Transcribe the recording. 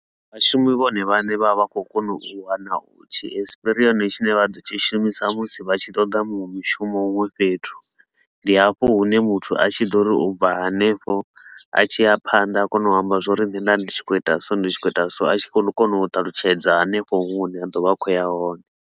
Vhashumi vhone vhane vha vha vha khou kona u wana u tshi espirioni tshine vha ḓo tshi shumisa musi vha tshi ṱoḓa muṅwe mushumo huṅwe fhethu. Ndi hafho hune muthu a tshi ḓo ri ubva hanefho a tshi ya phanḓa a kona u amba zwa uri nne nda ndi tshi khou ita so ndi tshi khou ita so, a tshi khou kona u ṱalutshedza hanefho huṅwe hune a ḓo vha a khou ya hone.